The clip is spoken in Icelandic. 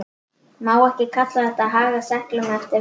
Má ekki kalla þetta að haga seglum eftir vindi?